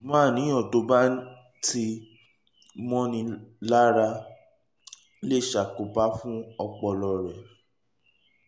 ṣùgbọ́n àníyàn tó bá ti mọ́ni lára lè ṣàkóbá fún ọpọlọ rẹ